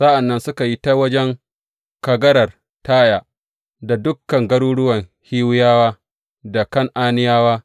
Sa’an nan suka yi ta wajen kagarar Taya da dukan garuruwan Hiwiyawa da Kan’aniyawa.